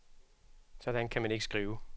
Sådan kan man ikke skrive.